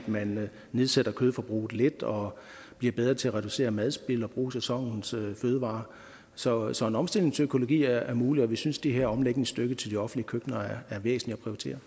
man nedsætter kødforbruget lidt og bliver bedre til at reducere madspild og bruge sæsonens fødevarer så så en omstilling til økologi er mulig og vi synes den her omlægningsstøtte til de offentlige køkkener er væsentlig